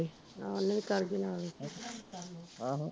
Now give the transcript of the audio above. ਆਹੋ ਓਹਨੂੰ ਵੀ ਕਰਗੀ ਨਾਲੈ ਈ ਆਹ